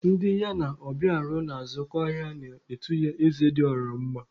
Ndị ya na Obiora na-azụkọ ahịa na-etu ya Eze dị ọha mma.